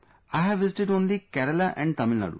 I have visited only Kerala and Tamilnadu